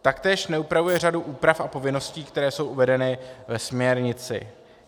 Taktéž neupravuje řadu úprav a povinností, které jsou uvedeny ve směrnici.